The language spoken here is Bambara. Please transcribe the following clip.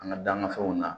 An ka dan na fɛnw na